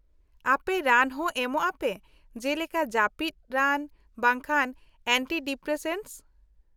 -ᱟᱯᱮ ᱨᱟᱱ ᱦᱚᱸ ᱮᱢᱚᱜ ᱟᱯᱮ ᱡᱮᱞᱮᱠᱟ ᱡᱟᱹᱯᱤᱫ ᱨᱟᱱ ᱵᱟᱝᱠᱷᱟᱱ ᱮᱱᱴᱤᱰᱤᱯᱨᱮᱥᱮᱱᱴᱥ ?